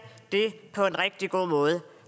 det på en rigtig god måde